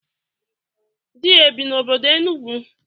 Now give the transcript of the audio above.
Di ya ebi n'obodo Enugwu?